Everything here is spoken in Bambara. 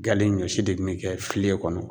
Gale ɲɔsi de bi ne kɛ filen kɔnɔ